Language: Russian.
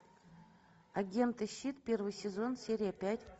агенты щит первый сезон серия пять